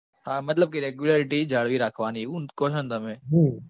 હા મતલબ કે regularity જાળવી રાખવાની એવું ન કો છો ન તમે?